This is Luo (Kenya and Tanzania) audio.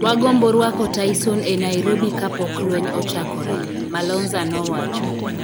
"Wagombo rwako Tyson e Nairobi kapok lweny ochakore", Malonza nowacho.